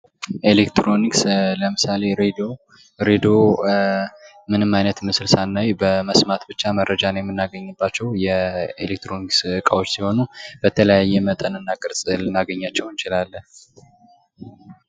ኤሌክትሮኒክስ ለምሳሌ ሬዲዮ ሬድዮ ምንም ዓይነት ምስል ሳናይ በመስማት ብቻ መረጃን የምናገኝባቸው የኤሌክትሮኒክስ እቃዎች ሲሆኑ በተለያየ መጠን እና ቅርጽ ልናገኛቸው እንችላለን።